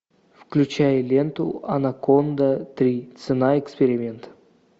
включай ленту анаконда три цена эксперимента